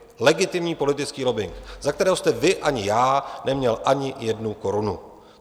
Legitimní politický lobbing, za který jste vy ani já neměl ani jednu korunu.